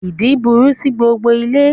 Ìdin burú sí gbogbo ilé